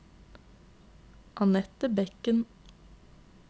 Annette Bekken